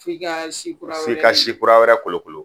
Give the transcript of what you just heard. F'i ka si kura wɛrɛ kolokolo